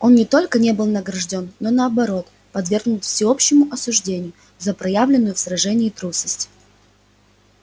он не только не был награждён но наоборот подвергнут всеобщему осуждению за проявленную в сражении трусость